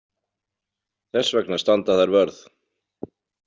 Þess vegna standa þær vörð.